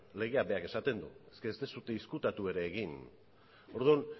legeak berak esaten du eske ez duzue ezkutatu ere egin orduan